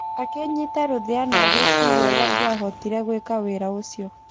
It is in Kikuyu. Akĩnyita rũthĩa na agĩĩciria ũrĩa angiahotire gwĩka wĩra ũcio.